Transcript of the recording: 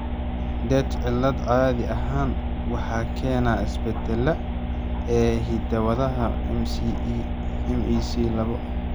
Rett cilad caadi ahaan waxaa keena isbeddelada (isbeddellada) ee hidda-wadaha MECP labo.